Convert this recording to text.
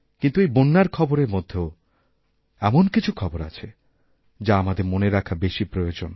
কিন্তু এই বন্যারখবরের মধ্যেও এমন কিছু খবর আছে যা আমাদের মনে রাখা বেশি প্রয়োজন